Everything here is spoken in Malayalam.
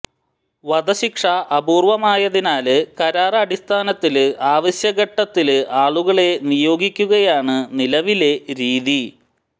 വധശിക്ഷ അപൂര്വ്വമായതിനാല് കരാര് അടിസ്ഥാനത്തില് ആവശ്യഘട്ടത്തില് ആളുകളെ നിയോഗിക്കുകയാണ് നിലവിലെ രീതി